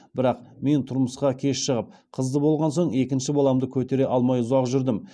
бірақ мен тұрмысқа кеш шығып қызды болған соң екінші баламды көтере алмай ұзақ жүрдім